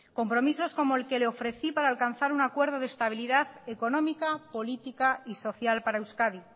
compromisos como el que le ofrecí para alcanzar un acuerdo de estabilidad económica política y social para euskadi